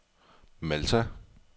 Malta